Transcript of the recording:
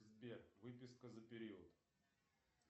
сбер выписка за период